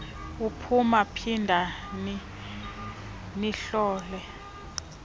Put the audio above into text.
uphuma phindani nihlole